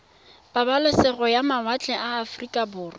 pabalesego ya mawatle ba aforika